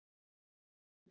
Axel Ingi.